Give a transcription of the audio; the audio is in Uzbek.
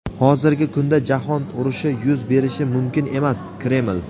Hozirgi kunda Jahon urushi yuz berishi mumkin emas — Kreml.